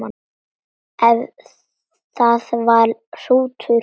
Ef það var hrútur.